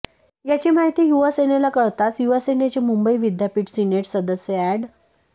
याची माहिती युवासेनेला कळताच युवासेनेचे मुंबई विद्यापीठ सिनेट सदस्य अॅड